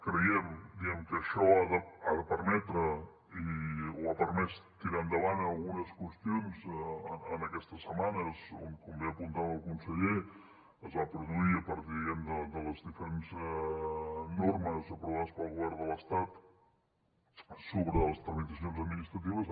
creiem que això ha de permetre o ha permès tirar endavant algunes qüestions en aquestes setmanes on com bé apuntava el conseller es va produir a partir diguem ne de les diferents normes aprovades pel govern de l’estat sobre les tramitacions administratives